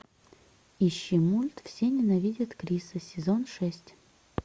ищи мульт все ненавидят криса сезон шесть